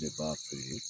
De b'a feere